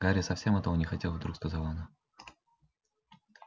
гарри совсем этого не хотел вдруг сказала она